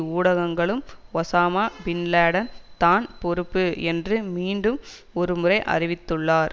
ஊடகங்களும் Osama bin Laden தான் பொறுப்பு என்று மீண்டும் ஒருமுறை அறிவித்துள்ளனர்